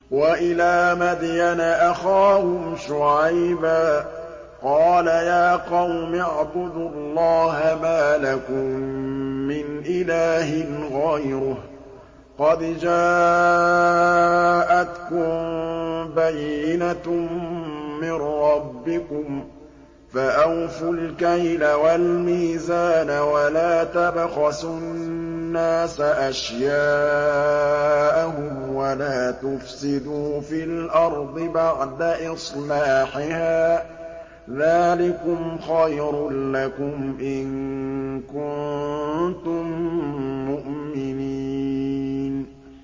وَإِلَىٰ مَدْيَنَ أَخَاهُمْ شُعَيْبًا ۗ قَالَ يَا قَوْمِ اعْبُدُوا اللَّهَ مَا لَكُم مِّنْ إِلَٰهٍ غَيْرُهُ ۖ قَدْ جَاءَتْكُم بَيِّنَةٌ مِّن رَّبِّكُمْ ۖ فَأَوْفُوا الْكَيْلَ وَالْمِيزَانَ وَلَا تَبْخَسُوا النَّاسَ أَشْيَاءَهُمْ وَلَا تُفْسِدُوا فِي الْأَرْضِ بَعْدَ إِصْلَاحِهَا ۚ ذَٰلِكُمْ خَيْرٌ لَّكُمْ إِن كُنتُم مُّؤْمِنِينَ